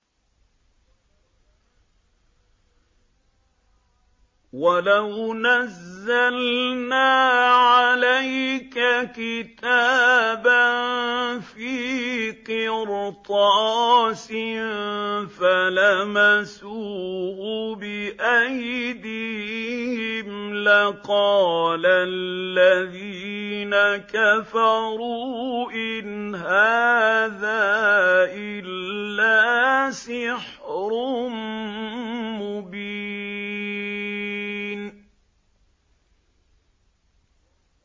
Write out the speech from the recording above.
وَلَوْ نَزَّلْنَا عَلَيْكَ كِتَابًا فِي قِرْطَاسٍ فَلَمَسُوهُ بِأَيْدِيهِمْ لَقَالَ الَّذِينَ كَفَرُوا إِنْ هَٰذَا إِلَّا سِحْرٌ مُّبِينٌ